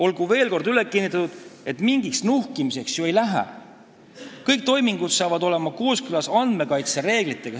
Olgu veel kord üle kinnitatud, et mingiks nuhkimiseks ei lähe – kõik toimingud saavad olema kooskõlas andmekaitse reeglitega.